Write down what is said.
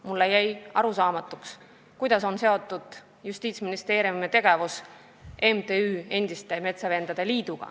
Mulle jäi arusaamatuks, kuidas on Justiitsministeeriumi tegevus seotud MTÜ-ga Endiste Metsavendade Liit.